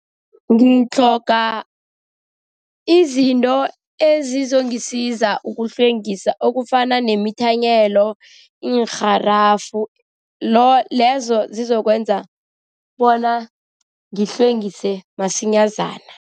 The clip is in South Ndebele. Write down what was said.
Ngitlhoga izinto ezizongisiza ukuhlwengisa okufana nemithanyelo, iinrharafu lezo zizokwenza bona ngihlwengise masinyazana.